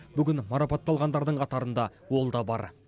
бүгін марапатталғандардың қатарында ол да бар